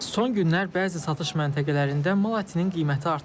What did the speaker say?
Son günlər bəzi satış məntəqələrində mal ətinin qiyməti artıb.